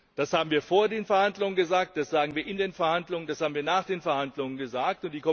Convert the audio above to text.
Das haben wir vor den Verhandlungen gesagt, das haben wir in den Verhandlungen gesagt, das haben wir nach den Verhandlungen gesagt.